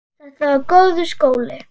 Þetta var góður skóli.